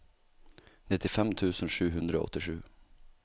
nittifem tusen sju hundre og åttisju